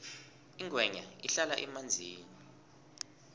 ingwenya ihlala emanzini